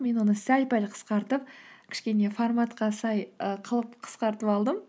мен оны сәл пәл қысқартып кішкене форматқа сай і қылып қысқартып алдым